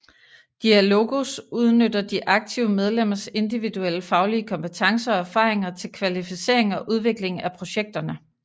Diálogos udnytter de aktive medlemmers individuelle faglige kompetencer og erfaringer til kvalificering og udvikling af projekterne